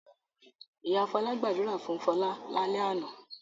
Ìyá Fọlá gbàdúrà fún Fọlá lálẹ́ àná?